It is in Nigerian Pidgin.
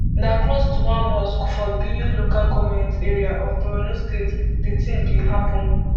na close to one mosque for biu local goment area of borno state di tin bin happun